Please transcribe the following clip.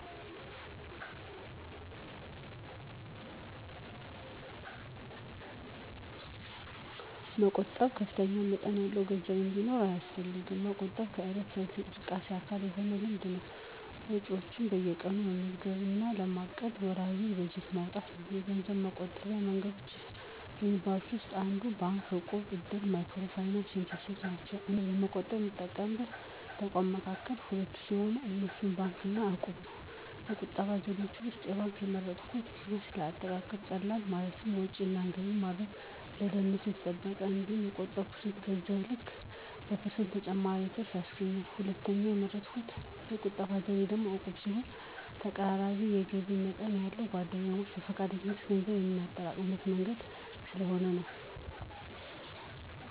መቆጠብ ከፍተኛ መጠን ያለው ገንዘብ እንዲኖር አያስፈልግም። መቆጠብ የዕለት ተዕለት እንቅስቃሴ አካል የሆነ ልምድ ነው። ወጪዎችዎን በየቀኑ መመዝገብ እና ለማቀድ ወርሃዊ በጀት ማውጣት ነው። የገንዘብ መቆጠቢያ መንገዶች ከሚባሉት ውስጥ እንደ ባንክ፣ እቁብ፣ እድር፣ ማይክሮ ፋይናንስ የመሳሰሉት ናቸው። እኔ ገንዘብ ለመቆጠብ ከምጠቀምባቸው ተቋማት መካከል ሁለቱን ሲሆን፣ እነሱም ባንክ እና እቁብን ነው። ከቁጠባ ዘዴዎች ውስጥ ባንክን የመረጥኩበት ምክንያት ለአጠቃቀም ቀላል፣ ማለትም ወጭ እና ገቢ ለማድረግ፣ ደህንነቱ የተጠበቀ፣ እንዲሁም በቆጠብሁት ገንዘብ ልክ በፐርሰንት ተጨማሪ ትርፍ ያስገኛል። ሁለተኛው የመረጥሁት የቁጠባ ዘዴ ደግሞ ዕቁብ ሲሆን ተቀራራቢ የገቢ መጠን ያለን ጓደኛሞች በፈቃደኝነት ገንዘብ የምናጠራቅምበት መንገድ ስለሆነ ነው።